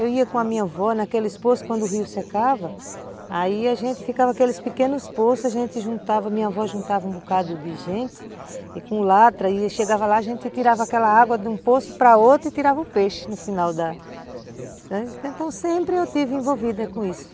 Eu ia com a minha avó naqueles poços, quando o rio secava, aí a gente ficava naqueles pequenos poços, a gente juntava, a minha avó juntava um bocado de gente, e com o latra ia, chegava lá, a gente tirava aquela água de um poço para outro e tirava o peixe no final da... Então, sempre eu estive envolvida com isso.